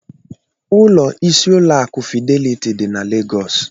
Ụlọ isi ụlọ akụ̀ Fideliti dị na Legọs.